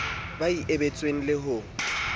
ba e abetsweng le ho